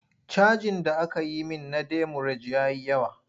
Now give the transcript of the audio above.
Cajin da aka yi min na demurej ya yi yawa.